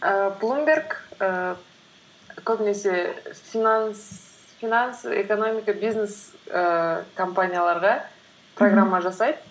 ііі блумберг ііі көбінесе финансы экономика бизнес ііі компанияларға программа жасайды